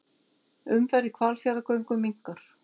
Umferð í Hvalfjarðargöngum minnkar